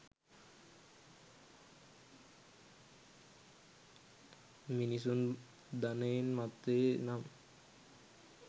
මිනිසුන් ධනයෙන් මත්වේ නම්